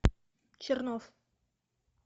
чернов